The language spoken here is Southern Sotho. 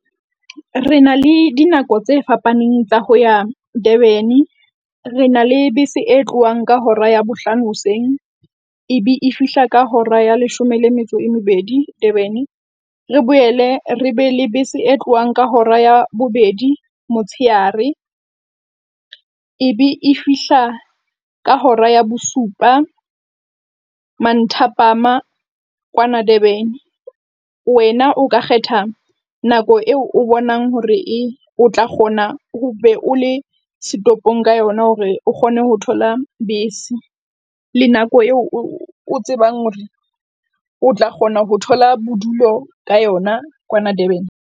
Re na le dinako tse fapaneng tsa ho ya Durban. Re na le bese e tlohang ka hora ya bohlano hoseng ebe e fihla ka hora ya leshome le metso e mebedi Durban. Re boele re be le bese e tlohang ka hora ya bobedi motsheare ebe e fihla ka hora ya bosupa manthapama kwana Durban. Wena o ka kgetha nako eo o bonang hore e, o tla kgona o be o le setoropong ka yona hore o kgone ho thola bese le nako eo o tsebang hore o tla kgona ho thola bodulo ka yona kwana Durban.